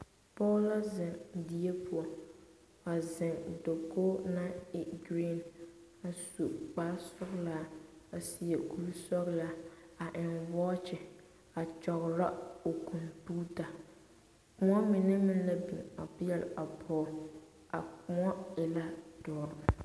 Pɔge la zeŋ die poɔ a zeŋ dakogi naŋ e gereeni a su kpare sɔglaa a seɛ kuri sɔglaa a eŋ waakye a kyɔgro o kompeta kõɔ mine meŋ la biŋ a peɛle a pɔge a kõɔ e la doɔre.